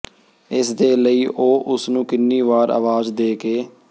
ਇਸ ਦੇ ਲਈ ਉਹ ਉਸਨੂੰ ਕਿੰਨੀ ਵਾਰ ਆਵਾਜ਼ ਦੇ ਕੇ